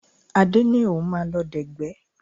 Adé ní òun máa lọ dẹ̀gbẹ́